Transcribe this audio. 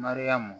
Mariyamu